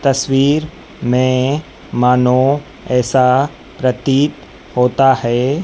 तस्वीर में मानो ऐसा प्रतीत होता है--